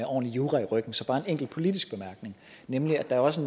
ordentlig jura i ryggen så bare en enkelt politisk bemærkning nemlig at der også